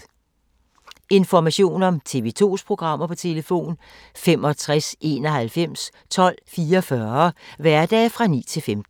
Information om TV 2's programmer: 65 91 12 44, hverdage 9-15.